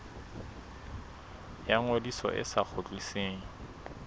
ya ngodiso e sa kgutlisweng